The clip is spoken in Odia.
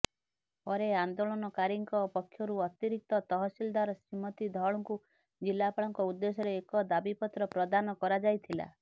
ପରେ ଆନେ୍ଦାଳନକାରୀଙ୍କ ପକ୍ଷରୁ ଅତିରିକ୍ତ ତହସିଲଦାର ଶ୍ରୀମତୀ ଧଳଙ୍କୁ ଜିଲ୍ଲାପାଳଙ୍କ ଉଦେ୍ଦଶ୍ୟରେ ଏକ ଦାବିପତ୍ର ପ୍ରଦାନ କରାଯାଇଥିଲା